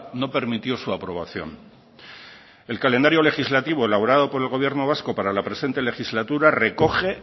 no permitió su aprobación el calendario legislativo elaborado por el gobierno vasco para la presente legislatura recoge